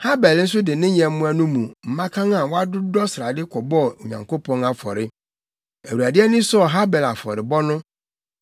Habel nso de ne nyɛmmoa no mu mmakan a wɔadodɔ srade kɔbɔɔ Onyankopɔn afɔre. Awurade ani sɔɔ Habel afɔrebɔ no.